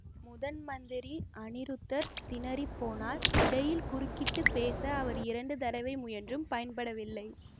முதன் மந்திரி அநிருத்தர் திணறிப்போனார் இடையில் குறுக்கிட்டு பேச அவர் இரண்டு தடவை முயன்றும் பயன்படவில்லை